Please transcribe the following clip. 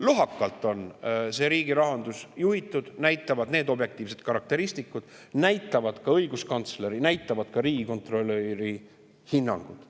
Lohakalt on see riigi rahandus juhitud, näitavad need objektiivsed karakteristikud, nii näitavad ka õiguskantsleri ja riigikontrolöri hinnangud.